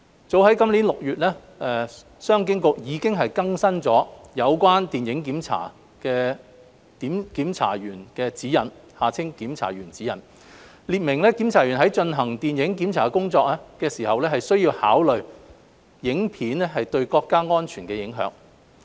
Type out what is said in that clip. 早於今年6月，商務及經濟發展局已經更新了《有關電影檢查的檢查員指引》，列明檢查員在進行電影檢查工作時需要考慮影片對國家安全的影響。